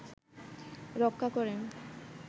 রক্ষা করেন